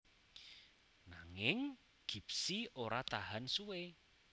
Nanging Gipsy ora tahan suwé